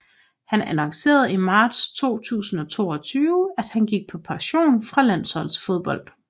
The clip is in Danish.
Han annoncerede i marts 2022 at han gik på pension fra landsholdsfodbold